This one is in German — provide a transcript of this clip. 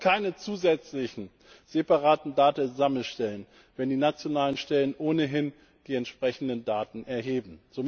Wir brauchen keine zusätzlichen separaten Datensammelstellen, wenn die nationalen Stellen ohnehin die entsprechenden Daten erheben.